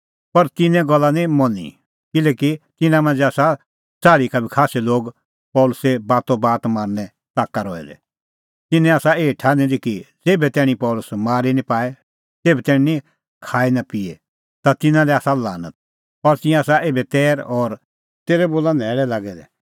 पर तिन्नें गल्ला निं मनी किल्हैकि तिन्नां मांझ़ै आसा च़ाल़्ही का बी खास्सै लोग पल़सी बातोबात मारनें ताका रहै दै तिन्नैं आसा एही ठान्हीं दी कि ज़ेभै तैणीं पल़सी मारी निं पाए तेभै तैणीं खाएपिए ता तिन्नां लै आसा लानत और तिंयां आसा एभै तैर और तेरै बोला न्हैल़ै लागै दै